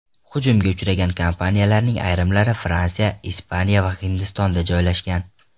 Hujumga uchragan kompaniyalarning ayrimlari Fransiya, Ispaniya va Hindistonda joylashgan.